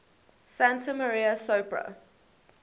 santa maria sopra